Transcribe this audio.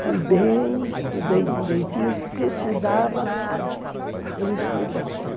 Fui bem, estudei direitinho o que precisava, eu estudei.